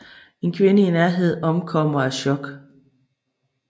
En kvinde i nærheden omkommer af chok